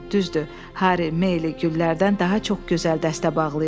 Düzdür, Harry Maylie güllərdən daha çox gözəl dəstə bağlayırdı.